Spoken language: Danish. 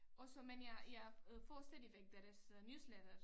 Og så men jeg jeg øh får stadigvæk deres newsletter